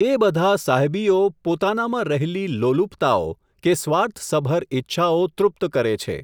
એ બધા સાહ્યબીઓ, પોતાનામાં રહેલી લોલુપતાઓ, કે સ્વાર્થસભર ઈચ્છાઓ તૃપ્ત કરે છે.